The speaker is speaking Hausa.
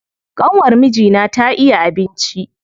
ƙanwar mijina ta iya abinci.